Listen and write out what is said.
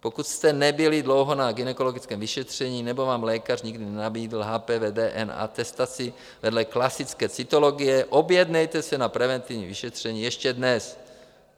Pokud jste nebyli dlouho na gynekologickém vyšetření nebo vám lékař nikdy nenabídl HPV DNA atestaci vedle klasické cytologie, objednejte se na preventivní vyšetření ještě dnes.